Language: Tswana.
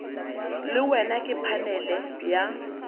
le wena ke phanele ya